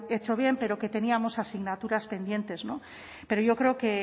hecho bien pero que teníamos asignaturas pendientes pero yo creo que